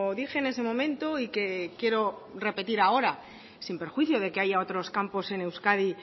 dije en ese momento y que quiero repetir ahora sin perjuicio de que haya otros campos en euskadi